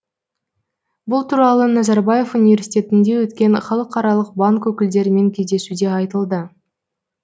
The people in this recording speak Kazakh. бұл туралы назарбаев университетінде өткен халықаралық банк өкілдерімен кездесуде айтылды